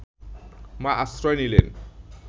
মা আশ্রয় নিলেন